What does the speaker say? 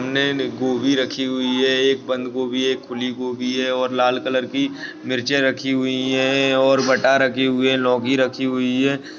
नई-नई गोबी रखी हुई है एक बंद गोबी है एक खुली गोबी है और लाल कलर की मिर्चीयाँ रखी हुई है और बटा रखी हुई है लोगी रखी हुई है।